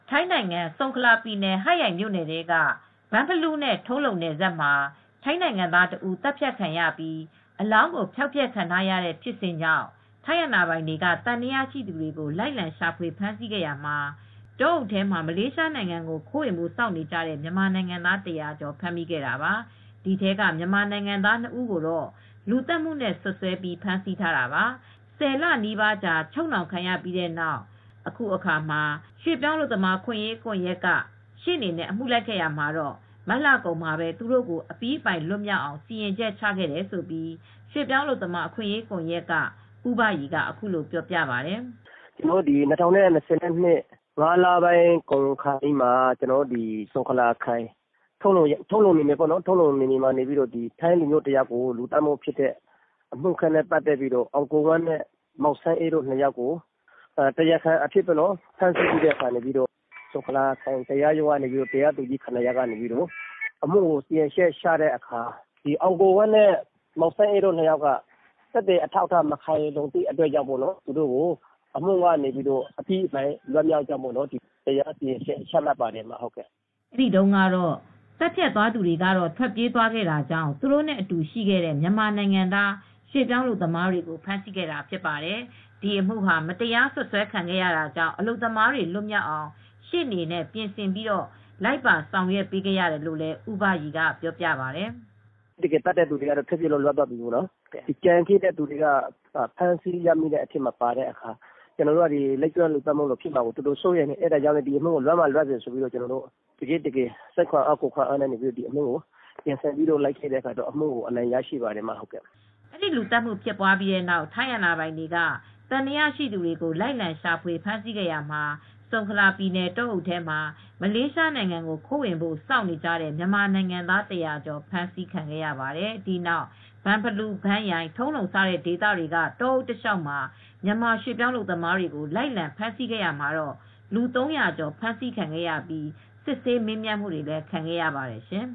ထိုင်းနိုင်ငံ ဆုန်ခလာပြည်နယ် ဟတ်ရိုင်မြိုနယ်ထဲက ဘန့်ဖလူးနဲ့ ထုံးလုံနယ်စပ် မှာ ထိုင်းနိုင်ငံသားတဦး သတ်ဖြတ်ခံရပြီး အလောင်းဖျောက်ဖျက်ခံရတဲ့ ဖြစ်စဉ်ကြောင့် ထိုင်းအာဏာပိုင်တွေက သံသယရှိသူတွေကို လိုက်လံရှာဖွေဖမ်းဆီးရာမှာ တောအုပ်ထဲမှာ မလေးရှားနိုင်ငံကို ခိုးဝင်ဖို့စောင့်နေကြတဲ့ မြန်မာနိုင်ငံသား ၁၀၀ ကျော်ကို ဖမ်းမိခဲ့တာပါ။ ဒီထဲကမြန်မာနိုင်ငံသား ၂ ဦးကို လူသတ်မှုသံသယနဲ့ စွပ်စွဲပြီးဖမ်းဆီးခဲ့ပါတယ်။ ၁၀ လနီးပါးအချုပ်နှောင်ခံရပြီးတဲ့နောက် ရွှေ့ပြောင်းအလုပ်သမားအခွင့်အရေးကွန်ယက်က ရှေ့နေနဲ့ အမှုလိုက်ခဲ့ရာမှာ မတ်လကုန်မှာသူတို့ကို အပြီးအပိုင်လွတ်မြောက်အောင် စီရင်ချက်ချခဲ့တယ်လို့ ရွှေ့ပြောင်းအလုပ်သမားအခွင့်အရေးကွန်ယက်က ဦးဘရီက အခုလိုပြောပြပါတယ်။ “၂၀၂၂ ခုနှစ် ၅ လပိုင်းကုန်ခါနီးမှာ ထုံလုံမြိုနယ်ထဲမှာ ထိုင်းလူမျိုးတယောက် အသတ်ခံရပြီးတဲ့နောက် မောင်အောင်ကိုဝင်းနဲ့မောင်စန်းအေး ၂ ယောက်ကို တရားခံအဖြစ် ဖမ်းဆီးထားပြီး ဆုံခလာခရိုင်တရားရုံးကနေ တရားသူကြီး ၇ ယောက်က သူတို့ကို အမှုစီရင်ချက်ချတဲ့အခါမှာ အောင်ကိုဝင်းနဲ့မောင်စန်းအေးတို့နှစ်ယာက်ကတော့ သက်သေမခိုင်လုံတဲ့အတွက် လူသတ်မှုကနေ အပြီးအပိုင်လွတ်မြောက်ကြောင်း စီရင်ချက်မှတ်ပါတယ်။” အဲဒီတုန်းက သတ်ဖြတ်ခဲ့သူတွေ ထွက်ပြေးသွားတာကြောင့် သူတို့နဲ့အတူရှိခဲ့တဲ့ မြန်မာနိုင်ငံသားရွှေ့ပြောင်းအလုပ်သမားတွေကို ဖမ်းဆီးခဲ့တာဖြစ်ပါတယ်။ ဒီအမှုဟာ မတရားစွပ်စွဲခံရတာကြောင့် အလုပ်သမားတွေလွတ်မြောက်အောင် ရှေ့နေနဲ့ ပြင်ဆင်ပြီး လိုက်ပါဆောင်ရွက်ခဲ့ရတယ်လို့လည်း ဦးဘရီကပြောပါတယ်။ “တကယ်သတ်တဲ့သူတွေက ထွက်ပြေးလွတ်မြောက်သွားတယ်။ ကျန်တဲ့သူတွေက ဖမ်းဆီးခံရတဲ့အတွက် ကျနော်တို့ကလည်း လိပ်ကျွန်းလူသတ်မှုလိုဖြစ်မှာစိုးလို့ဒီအမှုကို စိတ်ခွန်အားလူခွန်အားနဲ့ ရှေ့နေနဲ့ ပြင်ဆင်ပြီး လိုက်ပေးတဲ့အခါ အမှုက အနိုင်ရရှိသွားပါတယ်။” အဲဒီလူသတ်မှုဖြစ်ပြီးတဲ့နောက် ထိုင်းအာဏာပိုင်တွေက သံသယရှိသူတွေကို လိုက်လံရှာဖွေဖမ်းဆီးရာမှာ ဆုံခလာပြည်နယ် တောအုပ်ထဲမှာ မလေးရှားနိုင်ငံကို ခိုးဝင်ဖို့စောင့်နေကြတဲ့ မြန်မာနိုင်ငံသား ၁၀၀ ကျော်ကို ဖမ်းမိခဲ့တာပါ။ ဒီနောက် ဘန့်ဖလူး ဘန့်ရိုင် ထုံးလုံ စတဲ့ဒေသတွေက တောအုပ်တလျှောက် မြန်မာရွှေ့ပြောင်းအလုပ်သမားတွေကို လိုက်လံဖမ်းဆီးခဲ့ရာမှာ လူ ၃၀၀ ကျော် ဖမ်းဆီးခံရပြီး စစ်ဆေးမေးမြန်းခံခဲ့ရပါတယ်ရှင်